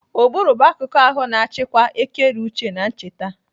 Ụbụrụ bụ akuku ahụ na-achịkwa ekereuche na ncheta.